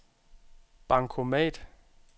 bankomat